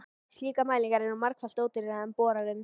Slíkar mælingar eru margfalt ódýrari en boranir.